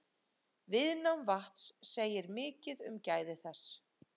Viðnám vatns segir mikið um gæði þess.